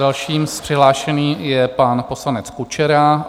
Dalším přihlášeným je pan poslanec Kučera.